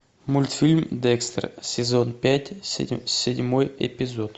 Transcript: мультфильм декстер сезон пять седьмой эпизод